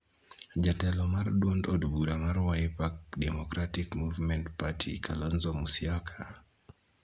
Jatelo mar duond od bura mar Wiper Democratic Movement Party Kalonzo Musyoka,